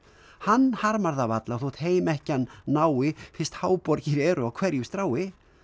hann harmar það varla þó heim ekki hann nái fyrst háborgir eru á hverju strái